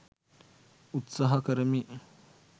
උත්සහා කරමි